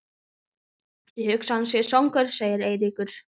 Ég hugsa að hann sé svangur sagði Eiríkur.